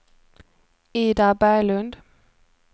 Ida Berglund